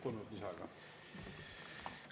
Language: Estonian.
Palun lisada kolm minutit.